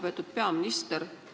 Lugupeetud peaminister!